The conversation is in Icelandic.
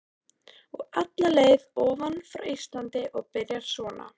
Og alla leið ofan frá Íslandi og byrjar svona